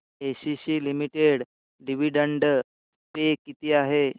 ACC limited dividend pay किती आहे